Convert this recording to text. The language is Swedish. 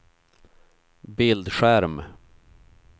bildskärm